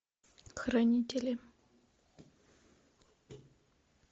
хранители